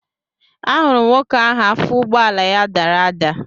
Ahụrụ m nwoke ahụ afọ ụgbọala ya dara ada